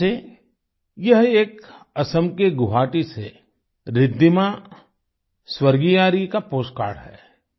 जैसे यह एक असम के गुवाहाटी से रिद्धिमा स्वर्गियारी का पोस्ट कार्ड है